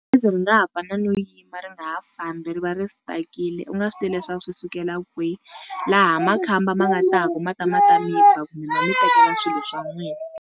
Gezi ri nga ha no yima ri nga ha fambi ri va ri stuck-ile u nga swi tivi leswaku swi sukela kwihi, laha makhamba ma nga ta ku ma ta ma ta miba kumbe va mi tekela swilo swa n'wina.